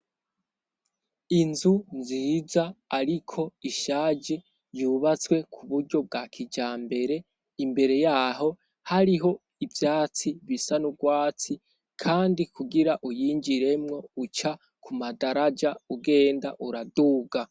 Inzu nziza, ariko ishaje ryubatswe ku buryo bwa kija mbere imbere yaho hariho ivyatsi bisa n'urwatsi, kandi kugira uyinjiremwo uca ku madaraja ugenda uraduga.